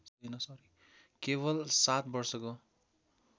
केवल सात वर्षको